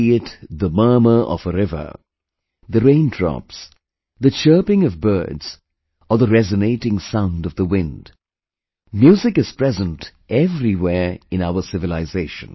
Be it the murmur of a river, the raindrops, the chirping of birds or the resonating sound of the wind, music is present everywhere in our civilization